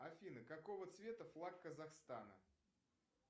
афина какого цвета флаг казахстана